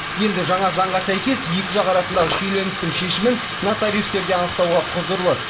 енді жаңа заңға сәйкес екі жақ арасындағы шиеленістің шешімін нотариустер де анықтауға құзырлы